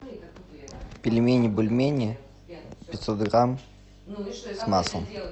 пельмени бульмени пятьсот грамм с маслом